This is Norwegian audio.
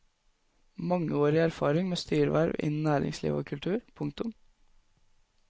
Mangeårig erfaring med styreverv innen næringsliv og kultur. punktum